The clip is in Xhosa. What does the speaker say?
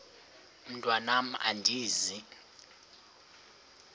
mntwan am andizi